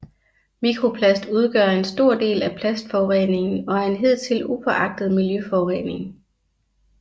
Mikroplast udgør en stor del af plastforureningen og er en hidtil upåagtet miljøforurening